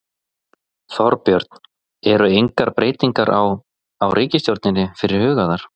Þorbjörn: Eru engar breytingar á, á ríkisstjórninni fyrir hugaðar?